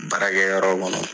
Baarakɛyɔrɔ kɔnɔ